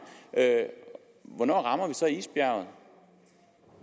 hvornår rammer vi så isbjerget